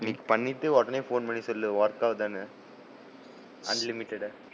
இன்னைக்கு பன்னிட்டு, உடனே போன் பன்னி சொல்லு work ஆகுதான்னு, unlimited